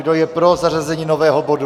Kdo je pro zařazení nového bodu?